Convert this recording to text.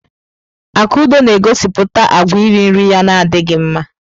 Akudo na-egosipụta àgwà iri nri ya na adịghị mma.